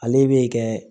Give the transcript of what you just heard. Ale bɛ kɛ